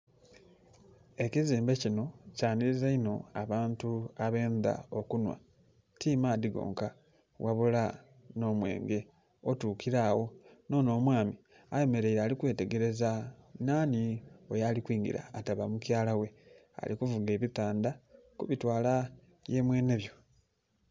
Ekizimbe kinho kyanhiliza inho abantu abendha okunhwa ti maadhi gonka ghabula nh'omwenge, otuukila agho. Nh'onho omwami ayemereire ali kwetegereza nhanhi oyo ali kwingila, ataba mukyala ghe, ali kuvuga ebitandha ku bitwala ye mwenhebyo.